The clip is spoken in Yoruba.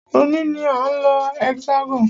Òní ní a ń lọ Hexagon.